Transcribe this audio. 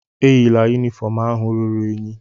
Eyila yunifọọm ahụ ruru unyi.